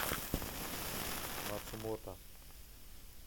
мацумото